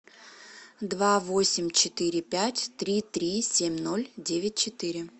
два восемь четыре пять три три семь ноль девять четыре